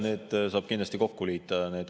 Need küsimused saab kindlasti kokku liita.